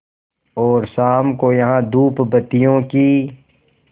और शाम को यहाँ धूपबत्तियों की